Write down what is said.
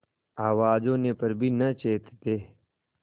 आवाज होने पर भी न चेतते